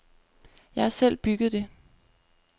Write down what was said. Jeg har selv bygget det.